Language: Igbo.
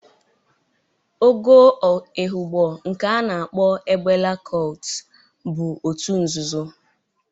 Ogo Ehụgbọ, nke a na-akpo egbela kọlt bụ otu nzụzụ.